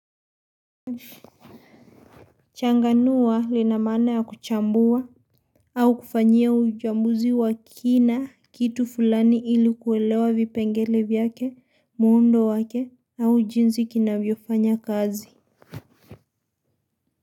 Changanua lina maana ya kuchambua au kufanyia uchambuzi wa kina kitu fulani ili kuelewa vipengele vyake, muundo wake au jinsi kinavyofanya kazi.